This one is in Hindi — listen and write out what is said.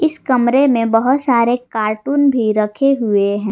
इस कमरे में बहुत सारे कार्टून भी रखे हुए हैं।